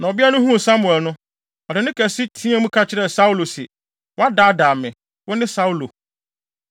Na ɔbea no huu Samuel no, ɔde nne kɛse teɛɛ mu ka kyerɛɛ Saulo se, “woadaadaa me! Wone Saulo!”